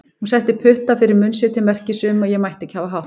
Hún setti putta fyrir munn sér til merkis um að ég mætti ekki hafa hátt.